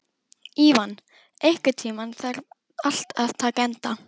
Ívan, einhvern tímann þarf allt að taka enda.